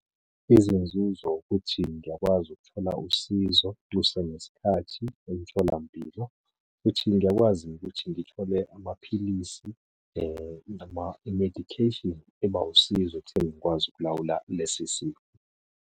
Izinzuzo ukuthi ngiyakwazi ukuthola usizo kusenesikhathi emtholampilo, futhi ngiyakwazi ukuthi ngithole amaphilisi noma i-medication eba wusizo ekutheni ngikwazi ukulawula lesi sifo.